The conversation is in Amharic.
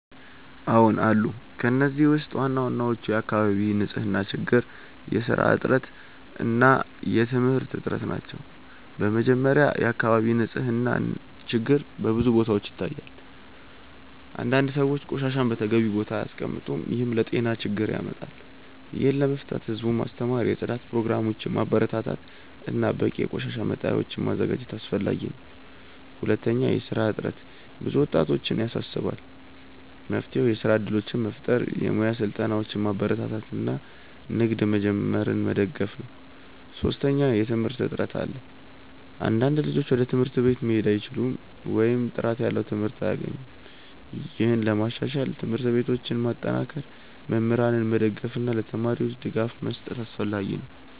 አዎን አሉ። ከእነዚህ ውስጥ ዋናዎቹ የአካባቢ ንፅህና ችግር፣ የስራ እጥረት እና የትምህርት እጥረት ናቸው። በመጀመሪያ፣ የአካባቢ ንፅህና ችግር በብዙ ቦታዎች ይታያል። አንዳንድ ሰዎች ቆሻሻን በተገቢው ቦታ አያስቀምጡም፣ ይህም ለጤና ችግር ያመጣል። ይህን ለመፍታት ህዝቡን ማስተማር፣ የጽዳት ፕሮግራሞችን ማበረታታት እና በቂ የቆሻሻ መጣያዎችን ማዘጋጀት አስፈላጊ ነው። ሁለተኛ፣ የስራ እጥረት ብዙ ወጣቶችን ያሳስባል። መፍትሄው የስራ እድሎችን መፍጠር፣ የሙያ ስልጠናዎችን ማበረታታት እና ንግድ መጀመርን መደገፍ ነው። ሶስተኛ፣ የትምህርት እጥረት አለ። አንዳንድ ልጆች ወደ ትምህርት ቤት መሄድ አይችሉም ወይም ጥራት ያለው ትምህርት አያገኙም። ይህን ለማሻሻል ትምህርት ቤቶችን ማጠናከር፣ መምህራንን መደገፍ እና ለተማሪዎች ድጋፍ መስጠት አስፈላጊ ነው።